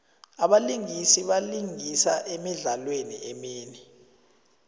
abalingisi balingisa emidlalweni eminingi